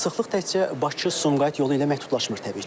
Sıxlıq təkcə Bakı-Sumqayıt yolu ilə məhdudlaşmır təbii ki.